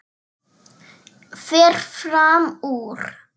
Fer fram úr.